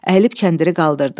Əyilib kəndiri qaldırdı.